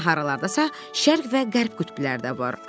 Deyəsən haralardasa Şərq və Qərb qütbləri də var.